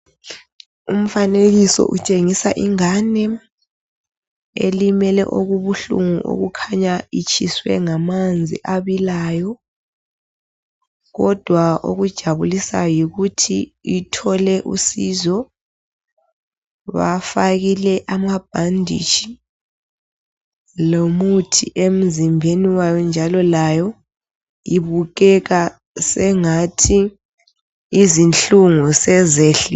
Umfanekiso utshengisa ingane elimele okubuhlungu okukhanya itshiswe ngamanzi abilayo kodwa okujabulisayo yikuthi ithole usizo bafakile amabhanditshi lomuthi emzimbeni wayo njalo layo ibukeka sengathi izinhlungu sezehlile